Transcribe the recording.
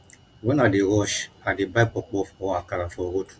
wen i dey rush i dey buy puff puff or akara for road